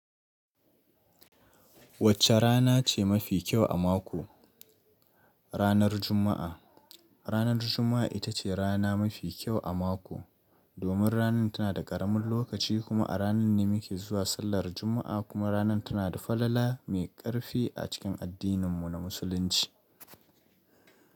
Wacce rana ce mafi kyau a mako? Ranar Juma'a. Ranar Juma'a ita ce rana mafi kyau a mako, domin rana tana da ƙaramin lokaci kuma a ranan ne muke zuwa sallar Juma'a kuma rana tana da falala mai ƙarfi a cikin addininmu na Musulunci.